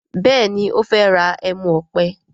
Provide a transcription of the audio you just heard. Béèni o fè rà ẹmu òpè.